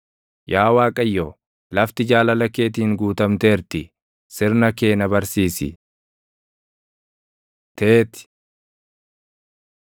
Yaa Waaqayyo, lafti jaalala keetiin guutamteerti; sirna kee na barsiisi. ט Teeti